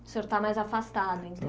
O senhor está mais afastado, então